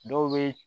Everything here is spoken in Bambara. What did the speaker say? Dɔw bɛ